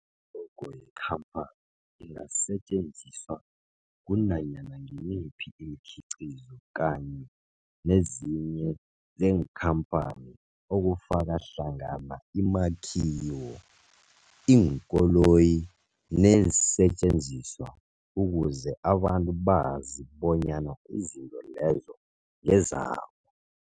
I-logo yekhaphani ingasetjenziswa kunanyana ngimuphi umkhiqizo kanye nezinto zekhamphani okufaka hlangana imakhiwo, iinkoloyi neensentjenziswa ukuze abantu bazi bonyana izinto lezo ngezabo.